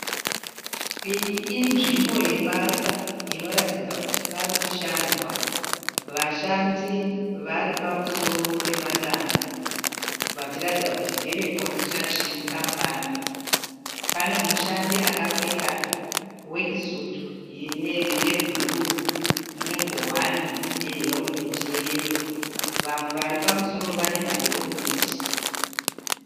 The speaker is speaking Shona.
Iyi inzvimbo yebasa inoratidza kuti parikushandwa. Vashandi vari pamusoro pemadanho vachiratidza kuti ndeve Construction Compony. Pane mushandi akapfeka wekisutu yebhuruu ne ngowani neherometi yeyero vamwe varipamusoro vane maherometi.